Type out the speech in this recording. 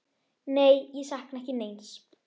Nei, ég sakna ekki neins.